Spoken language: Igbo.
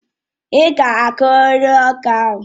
Ị́ ga akuriri ọka ahụ!